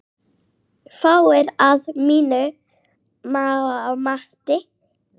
Fáir, að mínu mati.